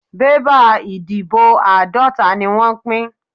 Bébà ìdìbò àádọ́ta ni wọ́n pín.